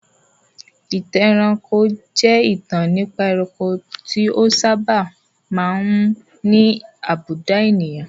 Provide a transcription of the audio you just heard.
Ìtàn ẹranko jẹ́ ìtàn nípa ẹranko tí ó sábà máa ń ní àbùdá ènìyàn.